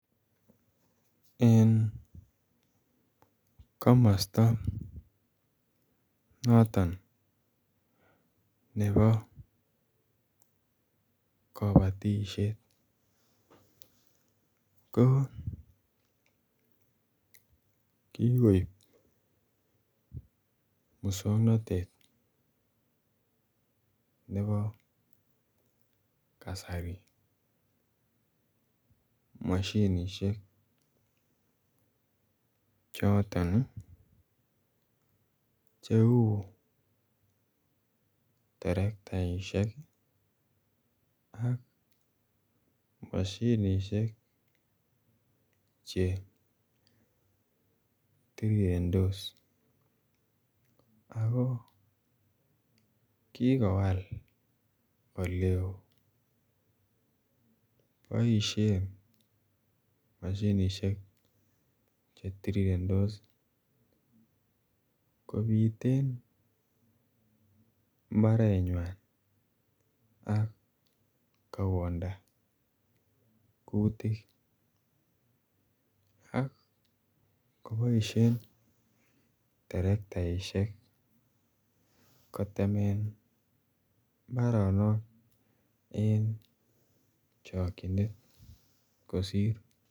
En komosto noton nebo kobotishet ko kigoib muswongnotet nebo kasari moshinishek choton che uu terektaishek ii ak moshinishek che tirirentos ako kigowal ole oo. Boishen moshinishek chu tirirentos kobiten mbarenywan ak kowonda kutik ak koboishen terektaishek kotemen mbaronok en chokyonet kosir